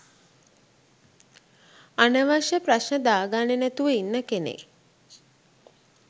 අනවශ්‍ය ප්‍රශ්න දාගන්නෙ නැතිව ඉන්න කෙනෙක්.